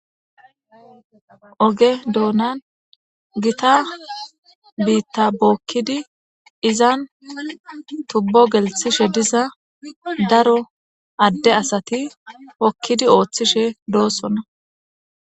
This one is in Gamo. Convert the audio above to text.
oge doonan gita biitta bookkidi izan tubbo gelthishe diza daro adde asati hokkidi ooththishe doossona